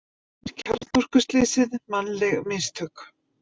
Segir kjarnorkuslysið mannleg mistök